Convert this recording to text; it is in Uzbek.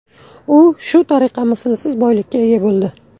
U shu tariqa mislsiz boylikka ega bo‘ldi.